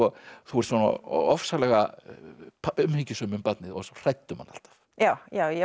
þú ert svona ofsalega umhyggjusöm um barnið og svo hrædd um hann alltaf já ég var